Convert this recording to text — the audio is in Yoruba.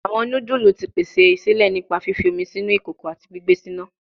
Awọn nudulu ti pese sile nipa fifi omi sinu ikoko ati gbigbe si ina